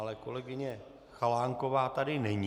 Ale kolegyně Chalánková tady není.